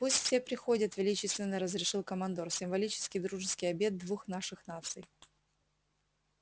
пусть все приходят величественно разрешил командор символический дружеский обед двух наших наций